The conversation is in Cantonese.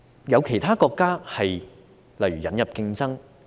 有其他國家的做法是例如引入競爭。